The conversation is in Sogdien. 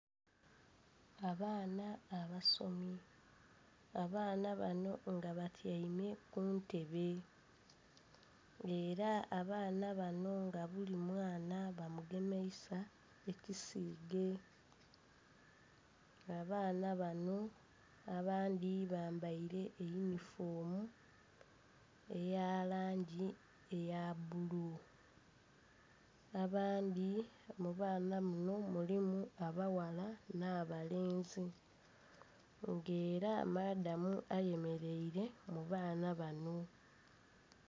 Abaana abasomi. Abaana bano nga batyaime ku ntebe. Era abaana bano nga buli mwana bamugemeisa ekisiige. Abaana bano abandhi bambaile yunifoomu eya langi eya bbulu. Abandhi..mu baana muno mulimu abaghala n'abalenzi. Nga era madamu ayemeleire mu baana bano.